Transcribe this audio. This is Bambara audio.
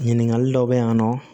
Ɲininkali dɔw bɛ yan nɔ